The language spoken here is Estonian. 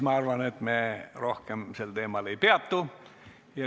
Ma arvan, et siis me rohkem sel teemal ei peatu.